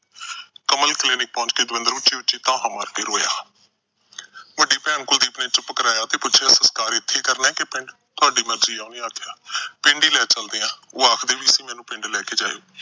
Kamal Clinic ਪਹੁੰਚ ਕੇ ਦਵਿੰਦਰ ਉਚੀ-ਉਚੀ ਤਾਹਾ ਮਾਰ ਕੇ ਰੋਇਆ। ਵੱਡੀ ਭੈਣ ਕੁਲਦੀਪ ਨੇ ਚੁੱਪ ਕਰਾਇਆ ਤੇ ਪੁੱਛਿਆ ਸਸਕਾਰ ਇੱਥੇ ਹੀ ਕਰਨਾ ਕਿ ਪਿੰਡ। ਤੁਹਾਡੀ ਮਰਜੀ ਏ, ਉਹਨੇ ਆਖਿਆ, ਪਿੰਡ ਹੀ ਲੈ ਚੱਲਦੇ ਆ। ਉਹ ਆਖਦੀ ਵੀ ਸੀ ਮੈਨੂੰ ਪਿੰਡ ਲੈ ਕੇ ਜਾਇਓ।